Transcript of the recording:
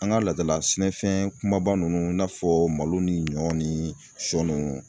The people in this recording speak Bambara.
An ka laadala sɛnɛfɛn kumaba nunnu i n'a fɔ malo ni ɲɔ ni siyɔ nunnu.